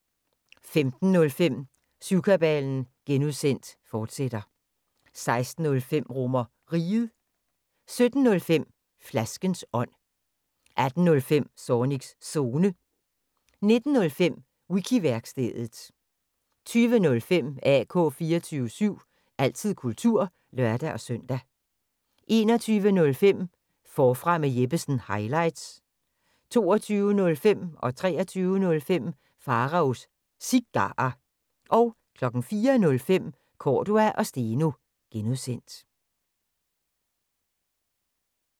15:05: Syvkabalen (G), fortsat 16:05: RomerRiget 17:05: Flaskens ånd 18:05: Zornigs Zone 19:05: Wiki-værkstedet 20:05: AK 24syv – altid kultur (lør-søn) 21:05: Forfra med Jeppesen – highlights 22:05: Pharaos Cigarer 23:05: Pharaos Cigarer 04:05: Cordua & Steno (G)